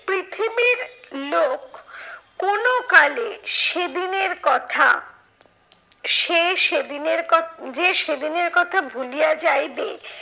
পৃথিবীর লোক কোনো কালে সেদিনের কথা সে সেদিনের কথা যে সেদিনের কথা ভুলিয়া যাইবে